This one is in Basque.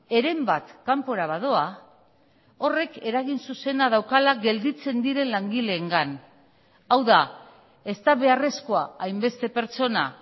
heren bat kanpora badoa horrek eragin zuzena daukala gelditzen diren langileengan hau da ez da beharrezkoa hainbeste pertsona